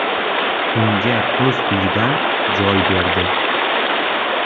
Unga o‘z uyidan joy berdi.